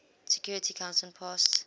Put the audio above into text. security council passed